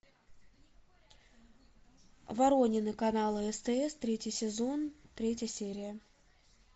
воронины канала стс третий сезон третья серия